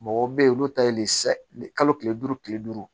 Mɔgɔw bɛ yen olu ta ye le saga tile duuru tile duuru